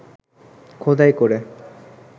খোদাই করে